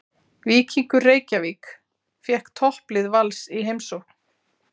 Víkingur Reykjavík fékk topplið Vals í heimsókn.